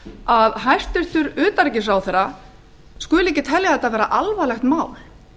að hæstvirtur utanríkisráðherra skuli ekki telja þetta alvarlegt mál